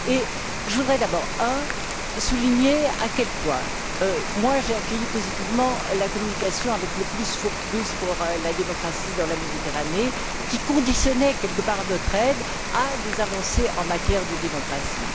En premier lieu, je voudrais d'abord souligner à quel point j'ai accueilli positivement la communication avec le plus pour plus pour la démocratie dans la Méditerranée, qui conditionnait en quelque sorte notre aide à des avancées en matière de démocratie.